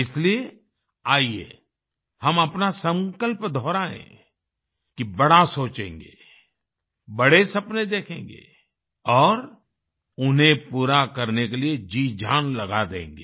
इसलिए आईये हम अपना संकल्प दोहरायें कि बड़ा सोचेंगें बड़े सपने देखेंगे और उन्हें पूरा करने के लिए जीजान लगा देंगे